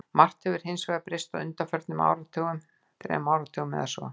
Margt hefur hins vegar breyst á undanförnum þremur áratugum eða svo.